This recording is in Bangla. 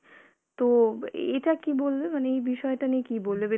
তো এ~ এটা কী বলবে মানে এই বিষয়টা নিয়ে কী বলবে